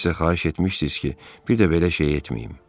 Siz də xahiş etmişdiniz ki, bir də belə şey etməyim.